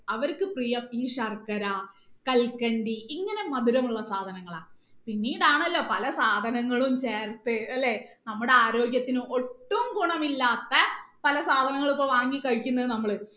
അവർക്ക് പ്രിയം ഈ ശർക്കര കൽക്കണ്ടി ഇങ്ങനെ മധുരമുള്ള സാധനങ്ങളാണ് പിന്നീട് ആണല്ലോ പല സാധനങ്ങളും ചേർത്ത് അല്ലെ നമ്മടെ ആരോഗ്യത്തിന് ഒട്ടും ഗുണമില്ലാത്ത പല സാധനങ്ങളും വാങ്ങി കഴിക്കുന്നത് നമ്മള്